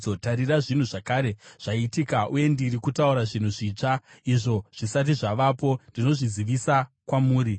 Tarira, zvinhu zvakare zvaitika, uye ndiri kutaura zvinhu zvitsva; izvo zvisati zvavapo ndinozvizivisa kwamuri.”